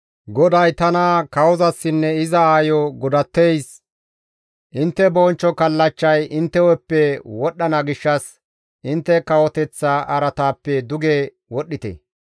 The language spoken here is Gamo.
GODAY tana, «Kawozasinne iza aayo godatteys, ‹Intte bonchcho kallachchay intte hu7eppe wodhdhana gishshas, intte kawoteththa araataappe duge wodhdhite.